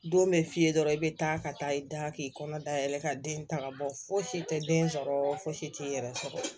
Don bɛ f'i ye dɔrɔn i bɛ taa ka taa i da k'i kɔnɔ dayɛlɛ ka den ta ka bɔ fosi tɛ den sɔrɔ fosi t'i yɛrɛ sɔrɔ